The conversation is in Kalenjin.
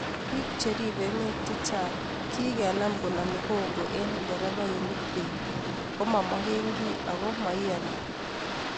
biik cheribe emet chechang kigenam koname hongo eng nderefainik beet komamagengei agoma maiyani